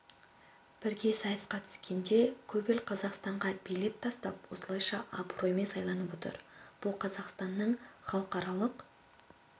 бірге сайысқа түскенде көп ел қазақстанға билет тастап осылайша абыроймен сайланып отыр бұл қазақстанның халықаралық